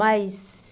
Mas...